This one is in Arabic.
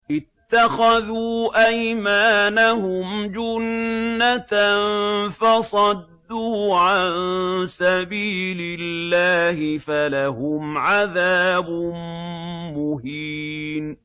اتَّخَذُوا أَيْمَانَهُمْ جُنَّةً فَصَدُّوا عَن سَبِيلِ اللَّهِ فَلَهُمْ عَذَابٌ مُّهِينٌ